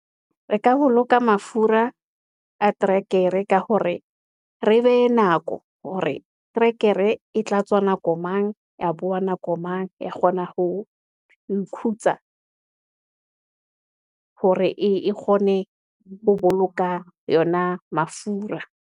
Re ka boloka mafura a trekere ka hore re behe nako, hore terekere e tla tswa nako mang, ya bowa nako mang, ya kgona ho ho ikhutsa hore e kgone ho boloka yona mafura.